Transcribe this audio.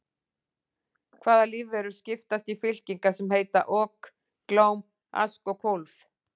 Hvaða lífverur skiptast í fylkingar sem heita ok, glóm, ask og kólf?